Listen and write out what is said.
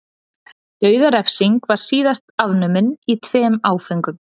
dauðarefsing var síðan afnumin í tveimur áföngum